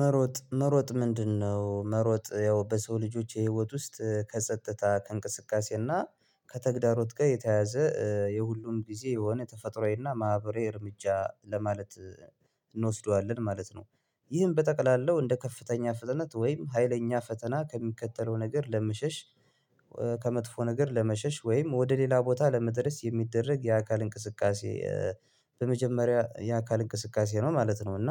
መሮጥ መሮጥ ምንድነው? መሮጥ ያው በሰው ልጆች የህይወት ውስጥ ከጸጥታ ከእንቅስቃሴ እና ከተግዳሮት ጋር የተያያዘ የሁሉም ጊዜ የሆነ ተፈጥሮአዊ እና ማህበራዊ እርምጃ ለማለት እንወስደዋለን ማለት ነው ይህም በጠቅላላው እንደ ከፍተኛ ፍጥነት ወይም ሀይለኛ ፈተና ከሚከተለው ነገር ለመሸሽ ከመጥፎ ነገር ለመሸሽ ወይም ወደ ሌላ ቦታ ለመድረስ የሚደረግ የአካል እንቅስቃሴ በመጀመሪያ የአካል እንቅስቃሴ ነው ማለት ነው እና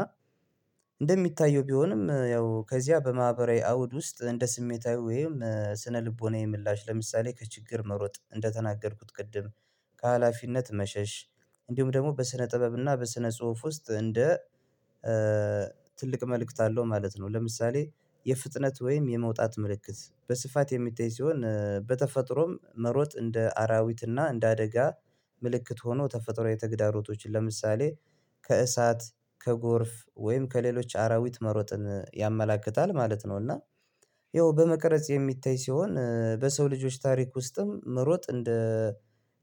እንደሚታየው ቢሆንም ያው ከዚያ በማህበራዊ አውድ ውስጥ እንደ ስሜታዊ ወይም ስነልቦናዊ ምላሽ ለምሳሌ ከችግር መሮጥ እንደተናገርኩት ቅድም ከሀላፊነት መሸሽ እንዲሁም ደግሞ በስነ ጥበብና በስነ ጽሁፍ ውስጥ እንደ ትልቅ መልእክት አለው ማለት ነው ለምሳሌ የፍጥነት ወይም የመውጣት ምልክት በስፋት የሚታይ ሲሆን በተፈጥሮም መሮጥ እንደ አራዊት እና እንደ አደጋ ምልክት ሆኖ ተፈጥሯዊ ተግዳሮቶችን ለምሳሌ ከእሳት ከጎርፍ ወይም ከሌሎች አራዊት መሮጥን ያመላክታል ማለት ነው እና ያው በመቅረጽ የሚታይ ሲሆን በሰው ልጆች ታሪክ ውስጥም መሮጥ እንደ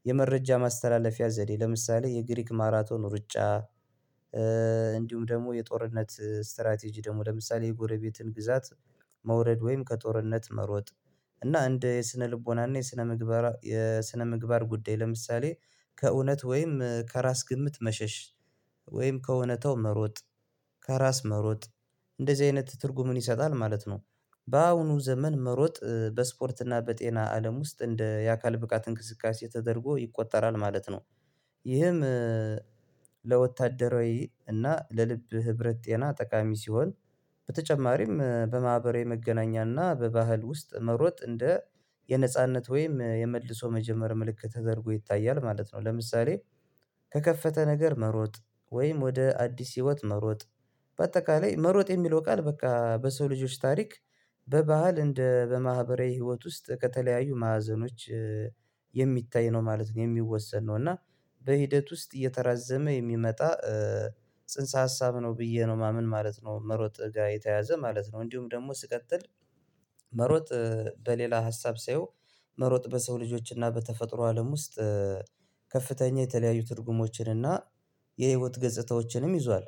የመረጃ ማስተላለፊያ ዘዴ ለምሳሌ የግሪክ ማራቶን ሩጫ እንዲሁም ደግሞ የጦርነት ስትራቴጂ ደግሞ ለምሳሌ የጎረቤትን ግዛት መውረድ ወይም ከጦርነት መሮጥ እና እንደ የስነ ልቦና እና የስነ ምግባር የስነ ምግባር ጉዳይ ለምሳሌ ከእውነት ወይም ከራስ ግምት መሸሽ ወይም ከእውነታው መሮጥ ከራስ መሮጥ እንደዚህ አይነት ትርጉምን ይሰጣል ማለት ነው በአሁኑ ዘመን መሮጥ በስፖርት እና በጤና አለም ውስጥ እንደ የአካል ብቃት እንቅስቃሴ ተደርጎ ይቆጠራል ማለት ነው ይህም ለወታደራዊ እና ለልብ ህብረት ጤና ጠቃሚ ሲሆን በተጨማሪም በማህበራዊ መገናኛና በባህል ውስጥ መሮጥ እንደ የነጻነት ወይም የመልሶ መጀመሪያ ምልክት ተደርጎ ይታያል ማለት ነው ለምሳሌ ከከፈተ ነገር መሮጥ ወይም ወደ አዲስ ህይወት መሮጥ በአጠቃላይ መሮጥ የሚለው ቃል በቃ በሰው ልጆች ታሪክ በባህል እንደ በማህበራዊ ህይወት ውስጥ ከተለያዩ ማዕዘኖች የሚታይ ነው ማለት ነው የሚወሰን ነው እና በሂደት ውስጥ እየተራዘመ የሚመጣ ጽንሰ ሀሳብ ነው ብዬ ነው ማምን ማለት ነው መሮጥ ጋር የተያያዘ ማለት ነው እንዲሁም ደግሞ ስቀጥል መሮጥ በሌላ ሀሳብ ሳየው መሮጥ በሰው ልጆችና በተፈጥሮ አለም ውስጥ ከፍተኛ የተለያዩ ትርጉሞችን እና የህይወት ገጽታዎችንም ይዟል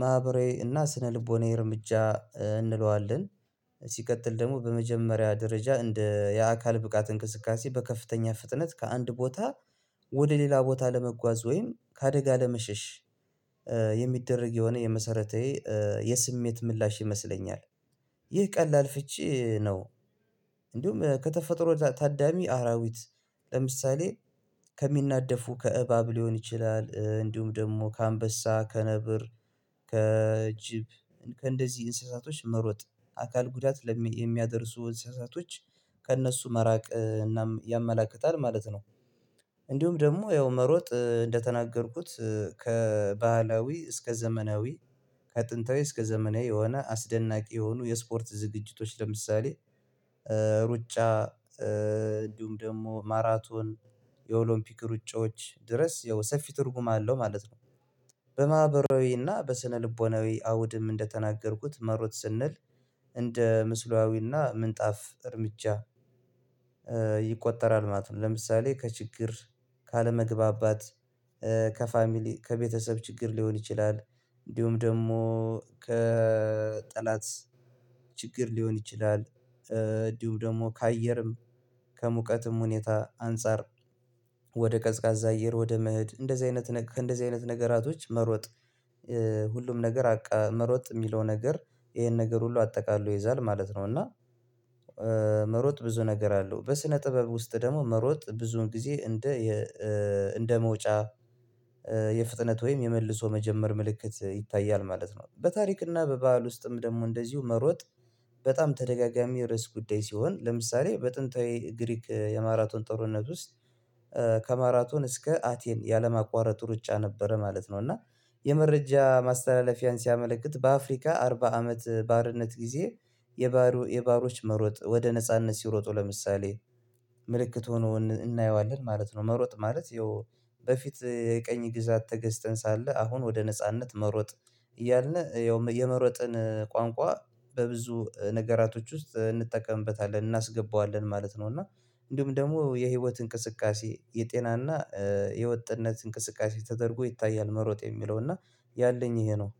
ማህበራዊ እና ስነልቦናዊ እርምጃ እንለዋለን ሲቀጥል ደግሞ በመጀመሪያ ደረጃ እንደ የአካል ብቃት እንቅስቃሴ በከፍተኛ ፍጥነት ከአንድ ቦታ ወደ ሌላ ቦታ ለመጓዝ ወይም ከአደጋ ለመሸሽ የሚደረግ የሆነ የመሰረቴ የስሜት ምላሽ ይመስለኛል ይህ ቀላል ፍቺ ነው እንዲሁም ከተፈጥሮ ታዳሚ አራዊት ለምሳሌ ከሚናደፉ ከእባብ ሊሆን ይችላል እንዲሁም ደግሞ ከአንበሳ ከነብር ከጅብ ከእንደዚህ እንስሳቶች መሮጥ አካል ጉዳት ለሚ የሚያደርሱ እንስሳቶች ከእነሱ መራቅ እናም ያመላክታል ማለት ነው እንዲሁም ደግሞ ያው መሮጥ እንደተናገርኩት ከባህላዊ እስከ ዘመናዊ ከጥንታዊ እስከ ዘመናዊ የሆነ አስደናቂ የሆኑ የስፖርት ዝግጅቶች ለምሳሌ ሩጫ እንዲሁም ደግሞ ማራቶን የኦሎምፒክ ሩጫዎች ድረስ ያው ሰፊ ትርጉም አለው ማለት ነው በማህበራዊና በስነልቦናዊ አውድም እንደተናገርኩት መሮጥ ስንል እንደ ምስሉያዊና ምንጣፍ እርምጃ ይቆጠራል ማለት ነው ለምሳሌ ከችግር ካለመግባባት ከፋሚሊ ከቤተሰብ ችግር ሊሆን ይችላል እንዲሁም ደግሞ ከጠላት ችግር ሊሆን ይችላል እንዲሁም ደግሞ ከአየርም ከሙቀትም ሁኔታ አንፃር ወደ ቀዝቃዛ አየር ወደ መኸድ እንደዚህ አይነት እንደዚህ አይነት ነገራቶች መሮጥ ሁሉም ነገር አቃ መሮጥ የሚለው ነገር ይሄን ነገር ሁሉ አጠቃሎ ይይዛል ማለት ነው እና መሮጥ ብዙ ነገር አለው በስነ ጥበብ ውስጥ ደግሞ መሮጥ ብዙን ጊዜ እንደ እንደ መውጫ የፍጥነት ወይም የመልሶ መጀመር ምልክት ይታያል ማለት ነው በታሪክና በባህል ውስጥም ደግሞ እንደዚሁ መሮጥ በጣም ተደጋጋሚ ርዕስ ጉዳይ ሲሆን ለምሳሌ በጥንታዊ ግሪክ የማራቶን ጥርነት ውስጥ ከማራቶን እስከ አቴን ያለማቋረጥ ሩጫ ነበረ ማለት ነው እና የመረጃ ማስተላለፊያን ሲያመለክት በአፍሪካ አርባ አመት ባርነት ጊዜ የባሮ የባሮች መሮጥ ወደ ነጻነት ሲሮጡ ለምሳሌ ምልክት ሆኖ እናየዋለን ማለት ነው መሮጥ ማለት ያው በፊት የቀኝ ግዛት ተገዝተን ሳለ አሁን ወደ ነጻነት መሮጥ እያልነ ያው የመሮጥን ቋንቋ በብዙ ነገራቶች ውስጥ እንጠቀምበታለን እናስገባዋለን ማለት ነው እና እንዲሁም ደግሞ የህይወት እንቅስቃሴ የጤናና የወጥነት እንቅስቃሴ ተደርጎ ይታያል መሮጥ የሚለው እና ያለኝ ይሄ ነው